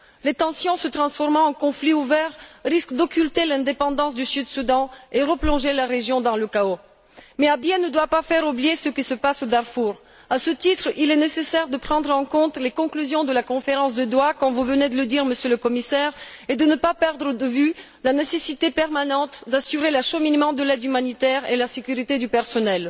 Les tensions se transformant en conflit ouvert risquent d'occulter l'indépendance du Sud Soudan et de replonger la région dans le chaos. Mais Abyei ne doit pas faire oublier ce qui se passe au Darfour. À ce titre, il est nécessaire de prendre en compte les conclusions de la conférence de Doha, comme vous venez de le dire, Monsieur le Commissaire, et de ne pas perdre de vue la nécessité permanente d'assurer l'acheminement de l'aide humanitaire et la sécurité du personnel.